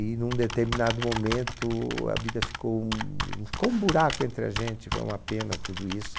E num determinado momento a vida ficou um, ficou um buraco entre a gente, foi uma pena tudo isso.